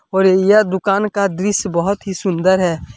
और य यह दुकान का दृस्य बहुत ही सुंदर है।